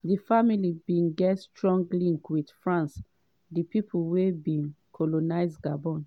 di family bin get strong links to france di pipo wey bin colonise gabon.